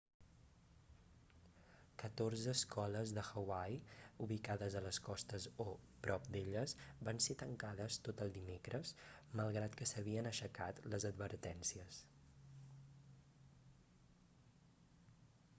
catorze escoles de hawaii ubicades a les costes o prop d'elles van ser tancades tot el dimecres malgrat que s'havien aixecat les advertències